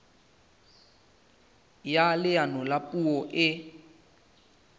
ya leano la puo e